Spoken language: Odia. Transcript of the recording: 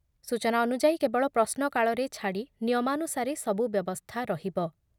ସୂଚନା ଅନୁଯାୟୀ, କେବଳ ପ୍ରଶ୍ନ କାଳରେ ଛାଡ଼ି ନିୟମାନୁସାରେ ସବୁ ବ୍ୟବସ୍ଥା ରହିବ ।